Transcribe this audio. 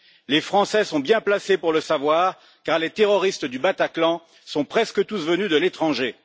Les Français sont bien placés pour le savoir, car les terroristes du Bataclan sont presque tous venus de l'étranger.